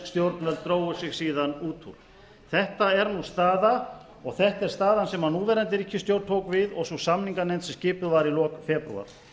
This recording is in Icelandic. stjórnvöld drógu sig síðan út úr þetta er nú staðan og þetta er staðan sem núverandi ríkisstjórn tók við og sú samninganefnd sem skipuð var í lok febrúar